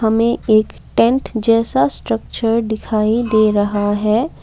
हमे एक टेंट जैसा स्ट्रक्चर दिखाई दे रहा है।